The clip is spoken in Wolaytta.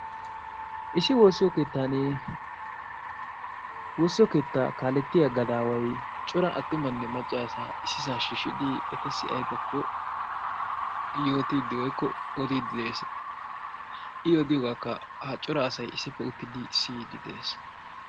Issi woossiyo keettan woossiyo keetta kaaletiyaa gadaway cora attumanne maccasaa issisa shiishshidi etassi aybbkko yootide woykko odiide de'ees. i odiyoogakka ha cora asaykka issippe uttidi siyyide de'ees.